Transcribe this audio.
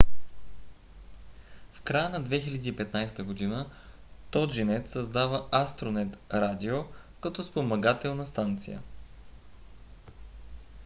в края на 2015 г. toginet създава astronet radio като спомагателна станция